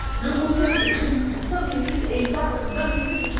Le Conseil est prévu pour cinq minutes et il parle vingt minutes.